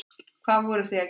Hvað voruð þið að gera hér?